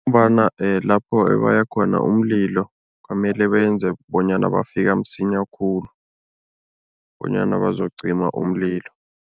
Ngombana lapho ebaya khona umlilo kwamele benze bonyana bafika msinya khulu bonyana bazocima umlilo.